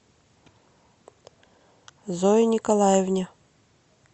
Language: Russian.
зое николаевне